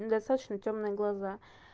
достаточно тёмные глаза